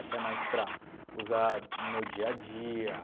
Até mais para usar no meu dia a dia.